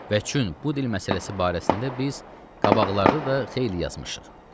Və çün bu dil məsələsi barəsində biz qabaqlarda da xeyli yazmışıq.